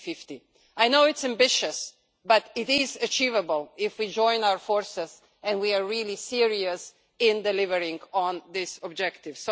2050. I know it's ambitious, but it is achievable if we join our forces and we are really serious about delivering on this objective.